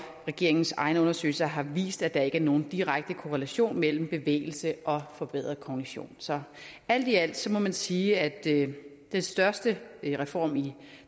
regeringens egne undersøgelser har vist at der ikke er nogen direkte korrelation mellem bevægelse og forbedret kognition så alt i alt må man sige at den største reform i